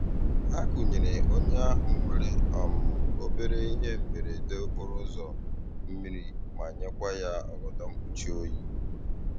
Ha kunyere onye ahụ nwere um obere ihe mberede okporo ụzọ, mmiri ma nyekwa ya ọgọdọ mkpuchi oyi.